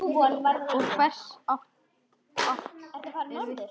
Og hversu hátt er virkið?